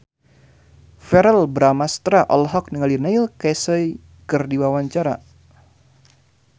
Verrell Bramastra olohok ningali Neil Casey keur diwawancara